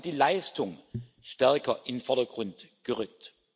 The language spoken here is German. Wir haben die Leistung stärker in den Vordergrund gerückt.